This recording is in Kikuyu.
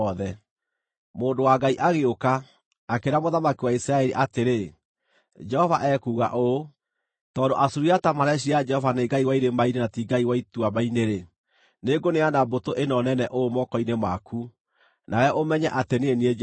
Mũndũ wa Ngai agĩũka, akĩĩra mũthamaki wa Isiraeli atĩrĩ, “Jehova ekuuga ũũ: ‘Tondũ Asuriata mareciiria Jehova nĩ ngai wa irĩma-inĩ na ti ngai wa ituamba-inĩ-rĩ, nĩngũneana mbũtũ ĩno nene ũũ moko-inĩ maku, nawe ũmenye atĩ niĩ nĩ niĩ Jehova.’ ”